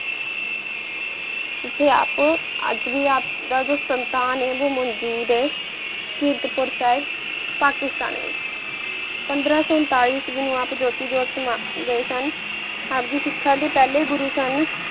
ਇਥੇ ਆਪ ਅਜ ਵੀ ਆਪ ਦਾ ਜੋ ਹੈ ਉਹ ਮੌਜੂਦ ਹੈ ਕ੍ਰਿਤਪੁਰ ਸਾਹਿਬ ਪਾਕਿਸਤਾਨ ਵਿਚ ਪੰਦਰਾ ਸੋ ਊਂਤਾਲੀ ਚ ਮਨੁ ਆਪ ਜੋਤੀ ਜੋਤ ਮਨ ਗਏ ਸਨ ਆਪ ਦੀ ਸ਼ਿਖਾ ਦੀ ਪਹਲੇ ਗੁਰੂ ਸਨ